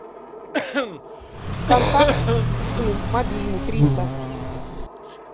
контакт сын мобильный триста